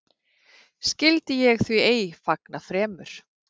Skyldi ég því ei fagna fremur?